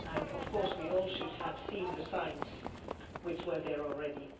Of course we all should have seen the signs, which were there already.